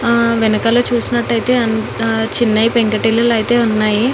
హా వెనకాల చూసినట్టైతే చిన్నవీ పెంకటి ఇల్లులు ఐతే ఉన్నాయీ.